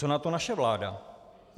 Co na to naše vláda?